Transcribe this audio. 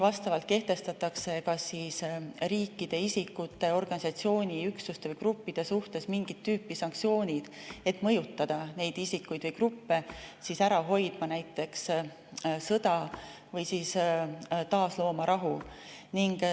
Vastavalt kehtestatakse kas riikide, isikute, organisatsioonide, üksuste või gruppide suhtes mingit tüüpi sanktsioonid, et mõjutada neid isikuid või gruppe ära hoidma näiteks sõda või siis taaslooma rahu.